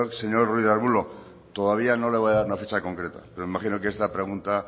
señor ruiz de arbulo todavía no le voy a dar una fecha concreta pero me imagino que esta pregunta